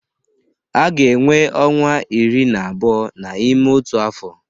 A ga-enwe ọnwa iri na abụọ n'ime otu afọ.